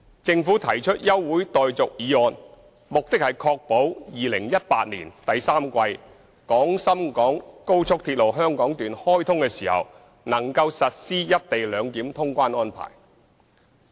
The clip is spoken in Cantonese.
政府提出休會待續議案，目的是確保2018年第三季廣深港高速鐵路香港段開通時能夠實施"一地兩檢"通關安排。